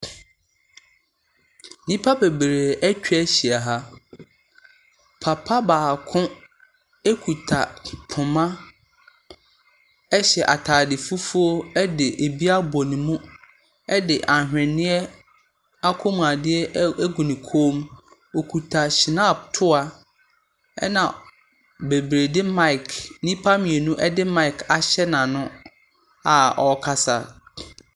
Nnipa bebree atwa ahyia ha. Papa baako ekuta poma ɛhyɛ ataade fufuo ɛde ebi abɔ ne mu. Rdi ahweneɛ ɛkɔmu adeɛ egu ne kɔnmu. Okuta shnap toa ɛna bebree di maic, nnipa mmienu de maic ahyɛ n'ano a ɔkasa.